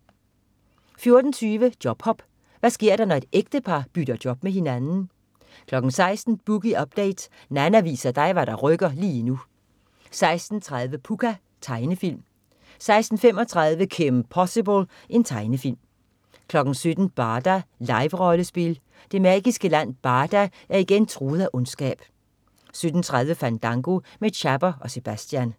14.20 Jobhop. Hvad sker der, når et ægtepar bytter job med hinanden ? 16.00 Boogie Update. Nanna viser dig hvad der rykker lige nu 16.30 Pucca. Tegnefilm 16.35 Kim Possible. Tegnefilm 17.00 Barda. Live-rollespil. Det magiske land Barda er igen truet af ondskab 17.30 Fandango med Chapper og Sebastian